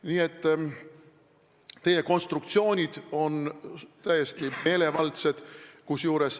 Nii et teie konstruktsioonid on täiesti meelevaldsed.